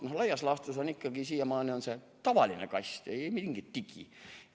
No laias laastus on raamatule siiamaani ikkagi see tavaline kast, ei mingit digi.